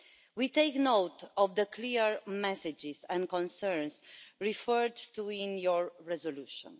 We take note of the clear messages and concerns referred to in your resolution.